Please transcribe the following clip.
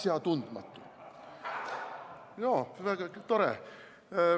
Jaa, väga tore!